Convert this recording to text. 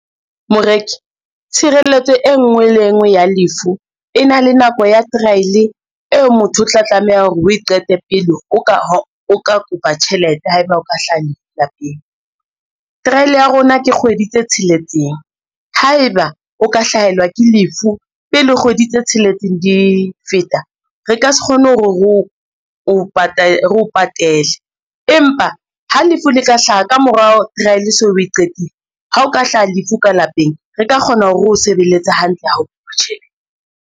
Moreki, tshireletso e ngwe le e ngwe ya lefu e na le nako ya trial eo motho o tla tlameha hore o e qete pele o ka kopa tjhelete haeba o ka hlaha lefu lapeng. Trial ya rona ke kgwedi tse tsheletseng, haeba o ka hlahelwa ke lefu pele kgwedi tse tsheletseng di feta re ka se kgone hore reo patele, empa ha lefu le ka hlaha ka morao trial o so o e qetile, ha o ka hlaha lefu ka lapeng re ka kgona hore reo sebeletse hantle haholo tjhe.